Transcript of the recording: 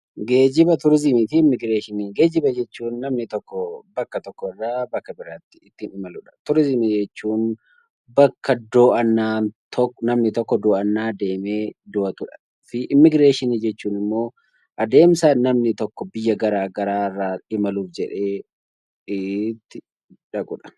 Geejjiba jechuun namni tokko bakka tokkorraa bakka biraatti itti imaludha. Turizimii jechuun immoo bakka namni tokko daawwannaa deemee daawwatudha. Immiigireeshinii jechuun immoo adeemsa namni tokko biyya garaagaraa imaluuf jedhee itti dhaqudha.